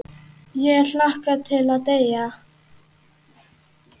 Ég hlakka til að deyja.